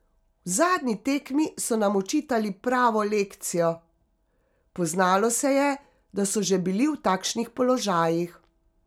V zadnji tekmi so nam očitali pravo lekcijo, poznalo se je, da so že bili v takšnih položajih.